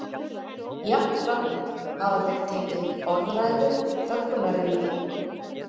Jafnframt hafa þeir tekið upp orðræðu þöggunarinnar.